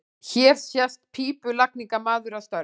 Hér sést pípulagningamaður að störfum.